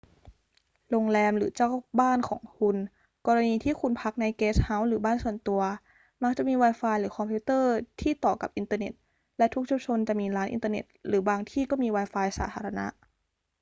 โรงแรมหรือเจ้าบ้านของคุณ กรณีที่คุณพักในเกสต์เฮาส์หรือบ้านส่วนตัว มักจะมี wifi หรือคอมพิวเตอร์ที่ต่อกับอินเทอร์เน็ต และทุกชุมชนจะมีร้านอินเทอร์เน็ตหรือบางที่ก็มี wifi สาธารณะ